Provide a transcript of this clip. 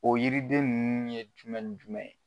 O yiriden ninnu ye jumɛn ni jumɛn ye?